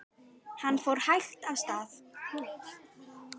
Hann fór hægt af stað.